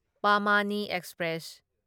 ꯄꯥꯃꯥꯅꯤ express